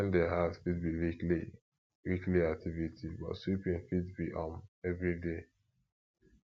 dusting di house fit be weekly weekly activity but sweeping fit be um everyday